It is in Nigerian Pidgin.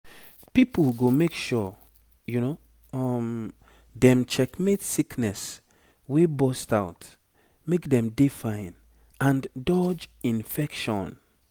pipo go make sure um dem check mate sickness wey burst out make dem dey fine and dodge infection